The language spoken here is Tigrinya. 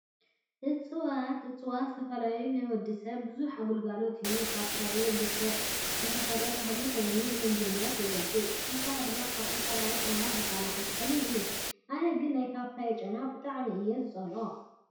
እፅዋት፦ እፅዋት ዝተፈላለዩ ነንወዲሰብ ብዙሕ ግልጋሎት ይህቡ። ፓፓየ ብሰብ ዝተኸል ተኽሊ ኮይኑ ንምግብነት የገልግል፤ ብተወሳኪ ድማ ካብ ዝተፈላለዩ ሕማማት ዝከላኸል ተኽሊ እዩ። ኣነ ግና ናይ ፓፓየ ጨና ብጣዕሚ እየ ዝፀልኦ ።